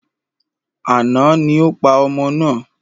Àná ni o pa ọmọ náà.